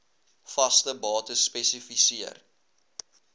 vaste bates spesifiseer